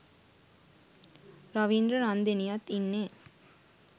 රවින්ද්‍ර රන්දෙනියත් ඉන්නේ.